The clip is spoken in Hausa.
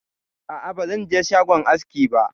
A'a bazan je shagon aski ba.